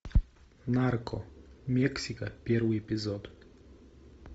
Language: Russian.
нарко мексика первый эпизод